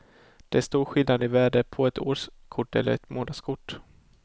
Det är stor skillnad i värde på ett årskort eller ett månadskort.